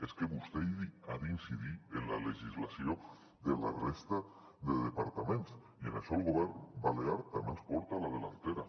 és que vostè ha d’incidir en la legislació de la resta de departaments i en això el govern balear també els porta avantatge